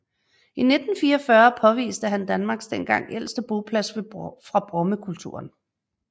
I 1944 påviste han Danmarks dengang ældste boplads fra Brommekulturen